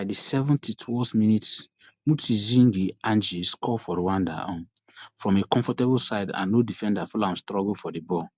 by di seventy-twond minutes mutsinzi ange score for rwanda um from a comfortable side and no defender follow am struggle for di ball